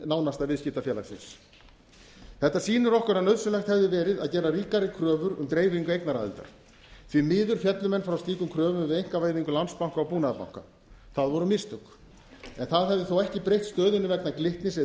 nánasta viðskiptafélagsins þetta sýnir okkur að nauðsynlegt hefði verið að gera ríkari kröfur um dreifingu eignaraðildar því miður féllu menn frá slíkum kröfum við einkavæðingu landsbanka og búnaðarbanka það voru mistök en það hefði þó ekki breytt stöðunni vegna glitnis eða